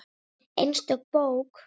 Einstök bók.